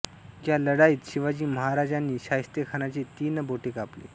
या लढाईत शिवाजी महाराजांनी शाहिस्तेखानाची तीन बोटे कापली